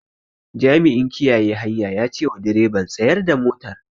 Jami'in kiyaye hanya ya cewa direban "Tsayar da motar"